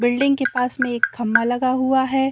Building के पास में एक खम्बा लगा हुआ है।